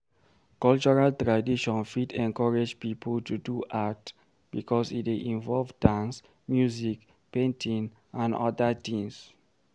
Cultural tradition fit encourage pipo to do art because e dey involve dance, music, painting and oda things